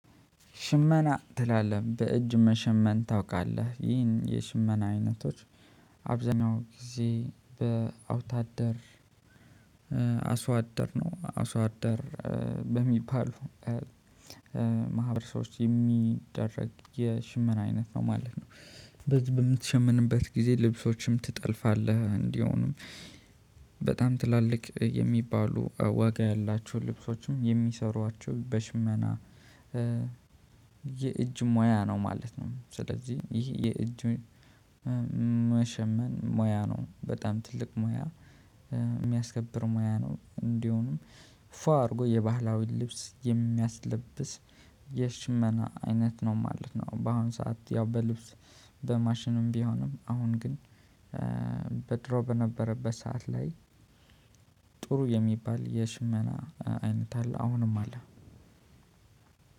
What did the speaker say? ሽመና ትላለህ በእጅ መሸመን ታውቃለህ ይህን የሽመና አይነቶች አብዛኛው ጊዜ በአውታደር አስዋደር ነው አስዋደር በሚባለው ማህበረሰቦች የሚደረግ የሽምር አይነት ነው ማለት ነው። በዚ በምትሸምንበት ጊዜ ልብሶችም ትጠልፋለህ እንዲሆንም በጣም ትላልቅ የሚባሉ ዋጋ ያላቸው ልብሶችም የሚሰሯቸው በሽመና የእጅ ሙያ ነው ማለት ነው። ስለዚህ ይህ የእጅ መሸመን ሙያ ነው በጣም ትልቅ ሙያ የሚያስከብር ሙያ ነው። እንዲሁም ፏ አድርጎ የባህላዊ ልብስ የሚያስለብስ የሽመና አይነት ነው ማለት ነው። በአሁን ሰዓት ያው በልብስ በማሽንም ቢሆንም አሁን ግን በድሮ በነበረበት ሰዓት ላይ ጥሩ የሚባል የሽመና አይነት አለ አሁንም አለ።